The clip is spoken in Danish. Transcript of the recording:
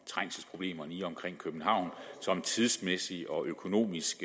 trængselsproblemerne i og omkring københavn som tidsmæssigt og økonomisk